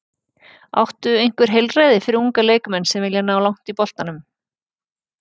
Áttu einhver heilræði fyrir unga leikmenn sem vilja ná langt í boltanum?